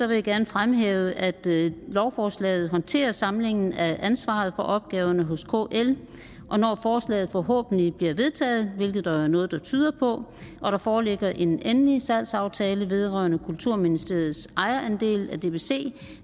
vil jeg gerne fremhæve at lovforslaget håndterer samlingen af ansvaret for opgaverne hos kl og når forslaget forhåbentlig bliver vedtaget hvilket der jo er noget der tyder på og der foreligger en endelig salgsaftale vedrørende kulturministeriets ejerandel af dbc